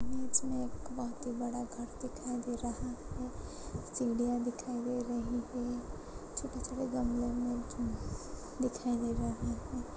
Image में एक बोहोत ही बड़ा दिखाई दे रहा है। सीढ़ीयाँ दिखाई दे रही है। छोटे छोटे गमलो में दिखाई दे रहा हैं।